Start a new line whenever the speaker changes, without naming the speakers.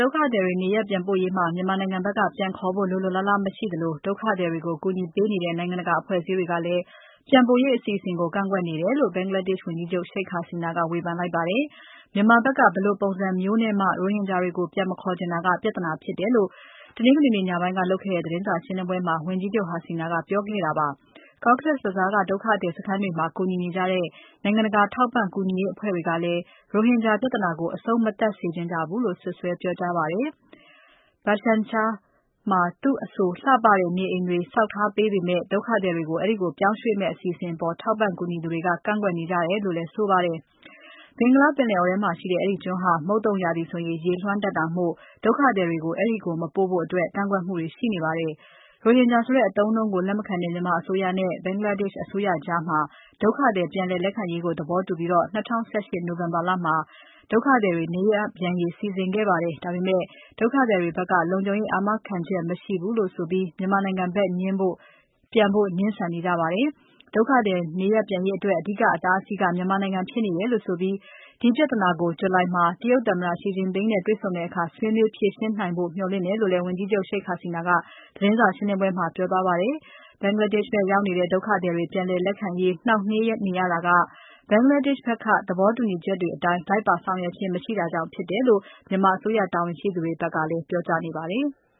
ဒုက္ခသည်တွေ နေရပ်ပြန်ပို့ရေးမှာ မြန်မာနိုင်ငံဘက်က ပြန်ခေါ်ဖို့ လိုလိုလားလား မရှိသလို ဒုက္ခသည်တွေကို ကူညီပေးနေတဲ့ နိုင်ငံတကာ အဖွဲ့အစည်းတွေကလည်း ပြန်ပို့ရေး အစီအစဉ်ကို ကန့်ကွက်နေတယ်လို့ ဘင်္ဂလားဒေ့ရှ် ဝန်ကြီးချုပ် Sheikh Hasina က ဝေဖန်လိုက်ပါတယ်။ မြန်မာဘက်က ဘယ်လိုပုံစံမျိုးနဲ့မှ ရိုဟင်ဂျာတွေကို ပြန်မခေါ်ချင်တာ ပြဿနာဖြစ်တယ်လို့ တနင်္ဂနွေညပိုင်းက လုပ်ခဲ့တဲ့ သတင်းစာရှင်းပွဲမှာ ဝန်ကြီးချုပ် Hasina က ပြောကြားခဲ့တာ ဖြစ်ပါတယ်။ Cox’s Bazar က ဒုက္ခသည်စခန်းတွေမှာ ကူညီနေကြတဲ့ နိုင်ငံတကာ ထောက်ပံ့ကူညီရေးအဖွဲ့တွေကလည်း ရိုဟင်ဂျာပြဿနာကို အဆုံးမသတ်စေချင်ကြဘူးလို့ စွပ်စွဲပြောကြားပါတယ်။ Bhashan Char မှာ သူ့အဆို လှပတဲ့ နေအိမ်တွေ ဆောက်ပေးထားပေမဲ့ ဒုက္ခသည်တွေကို အဲဒီကို ပြောင်းရွှေ့မယ့်ကိစ္စအပေါ် ထောက်ပံ့ ကူညီသူတွေက ကန့်ကွက်နေကြတယ်လို့လည်း ဆိုပါတယ်။ ဘင်္ဂလားပင်လယ်အော်ထဲမှာရှိတဲ့ အဲဒီကျွန်းဟာ မုတ်သုန်ရာသီဆို ရေလွှမ်းတတ်တာမို့ ဒုက္ခသည်စခန်းတွေကို အဲဒီကို မပြောင်းဖို့ ကန့်ကွက်မှုတွေ ရှိပါတယ်။ ရိုဟင်ဂျာဆိုတဲ့ အသုံးအနှုန်းကို လက်မခံတဲ့ မြန်မာအစိုးရနဲ့ ဘင်္ဂလားဒေ့ရှ်အစိုးရကြား ဒုက္ခသည် ပြန်လည်လက်ခံရေးကို သဘောတူပြီး ၂၀၁၈ နိုဝင်ဘာလမှာ ဒုက္ခသည်တွေ နေရပ်ပြန်ရေး စီစဉ်ခဲ့ကြပါတယ်။ ဒါပေမဲ့ ဒုက္ခသည်တွေဘက်က လုံခြုံရေးအာမခံချက် မရှိဘူးဆိုပြီး မြန်မာနိုင်ငံဘက်ပြန်ဖို့ ငြင်းဆန်နေကြပါတယ်။ ဒုက္ခသည် နေရပ်ပြန်ရေးအတွက် အဓိက အတားအဆီးက မြန်မာနိုင်ငံ ဖြစ်နေတယ်လို့ဆိုပြီး ဒီပြဿနာကို ဇူလိုင်လမှာ တရုတ်သမ္မတ Xi Jing-ping နဲ့ တွေ့ဆုံတဲ့အခါ ဆွေးနွေးဖြေရှင်းနိုင်ဖို့ မျှော်လင့်တယ်လို့လည်း ဝန်ကြီးချုပ် Sheikh Hasina က သတင်းစာရှင်းပွဲမှာ ပြောသွားပါတယ်။ ဘင်္ဂလားဒေ့ရှ်ဘက် ရောက်နေတဲ့ ဒုက္ခသည်တွေ ပြန်လည်လက်ခံရေး နှောင့်နှေးနေရတာက ဘင်္ဂလားဒေ့ရှ်ဘက်က သဘောတူညီချက်တွေအတိုင်း လိုက်ပါဆောင်ရွက်ခြင်း မရှိတာကြောင့် ဖြစ်တယ်လို့ မြန်မာအစိုးရ တာဝန်ရှိသူတွေဘက်ကလည်း ပြောထားဖူးပါတယ်။